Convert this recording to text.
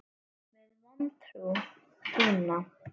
Með vantrú þína.